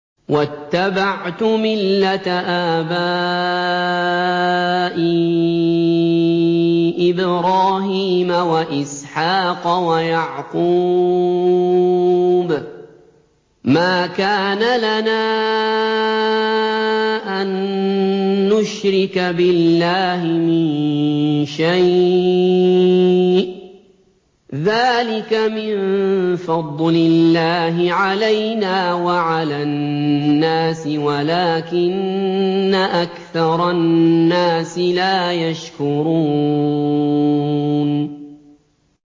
وَاتَّبَعْتُ مِلَّةَ آبَائِي إِبْرَاهِيمَ وَإِسْحَاقَ وَيَعْقُوبَ ۚ مَا كَانَ لَنَا أَن نُّشْرِكَ بِاللَّهِ مِن شَيْءٍ ۚ ذَٰلِكَ مِن فَضْلِ اللَّهِ عَلَيْنَا وَعَلَى النَّاسِ وَلَٰكِنَّ أَكْثَرَ النَّاسِ لَا يَشْكُرُونَ